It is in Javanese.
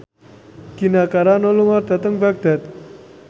Gina Carano lunga dhateng Baghdad